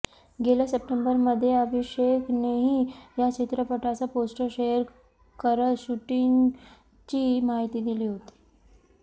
गेल्या सप्टेंबरमध्ये अभिषेकनेही या चित्रपटाचे पोस्टर शेअर करत शूटिंगची माहिती दिली होती